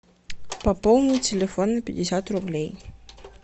пополнить телефон на пятьдесят рублей